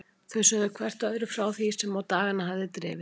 Þau sögðu hvert öðru frá því sem á dagana hafði drifið.